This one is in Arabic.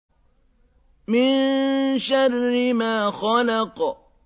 مِن شَرِّ مَا خَلَقَ